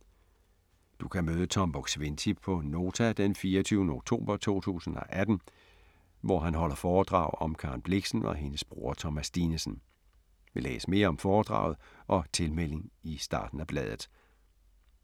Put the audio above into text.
Du kan møde Tom Buk-Swienty på Nota den 24. oktober 2018, hvor han holder foredrag om Karen Blixen og hendes bror Thomas Dinesen. Læs mere om foredraget og tilmelding i starten af bladet.